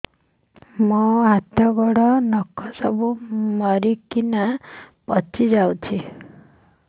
ମୋ ହାତ ଗୋଡର ନଖ ସବୁ ମରିକିନା ପଚି ଯାଉଛି